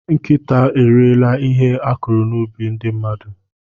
Nkịta eriela ihe a kụrụ n'ubi ndị mmadụ.